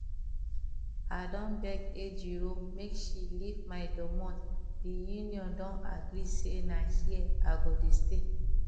i don beg ejiro make she leave my domot the union don agree say na here i go dey stay